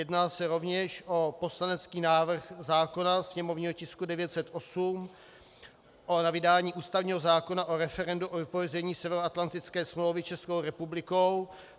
Jedná se rovněž o poslanecký návrh zákona, sněmovního tisku 908, o vydání ústavního zákona o referendu o vypovězení Severoatlantické smlouvy Českou republikou.